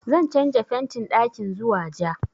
Zan canja fentin ɗakin zuwa ja